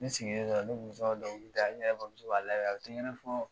Ne sigilen dɔrɔn , ne kun bi tɔ ka dɔnkili da, ne bamuso ba lamɛn a bi tigɛrɛ fɔ.